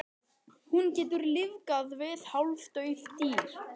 Hún getur lífgað við hálfdauð dýr.